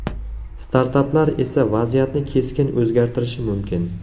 Startaplar esa vaziyatni keskin o‘zgartirishi mumkin.